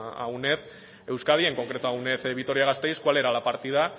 a uned euskadi en concreto a uned vitoria gasteiz cual era la partida